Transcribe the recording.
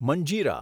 મંજીરા